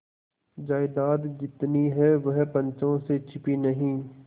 जायदाद जितनी है वह पंचों से छिपी नहीं